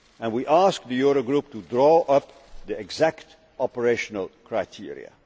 We asked the Eurogroup to draw up the exact operational criteria.